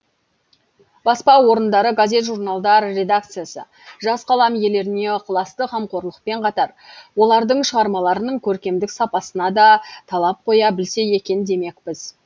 баспа орындары газет журналдар редакциясы жас қалам иелеріне ықыласты қамқорлықпен қатар олардың шығармаларының көркемдік сапасына да талап қоя білсе екен демекпіз